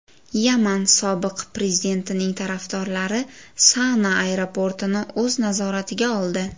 Yaman sobiq prezidentining tarafdorlari Sana aeroportini o‘z nazoratiga oldi.